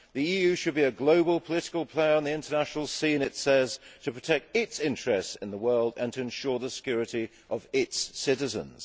The EU should be a global political player on the international scene' it says, to protect its interests in the world and to ensure the security of its citizens'.